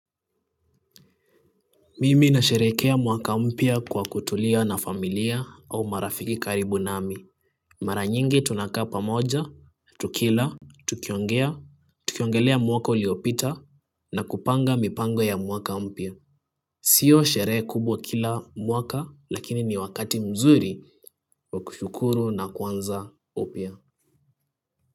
Mimi nasherekea mwaka mpya kwa kutulia na familia au marafiki karibu nami. Mara nyingi tunakaa pamoja, tukila, tukiongea, tukiongelea mwaka uliopita na kupanga mipango ya mwaka mpya. Sio sherehe kubwa kila mwaka. Lakini ni wakati mzuri wa kushukuru na kuanza upya.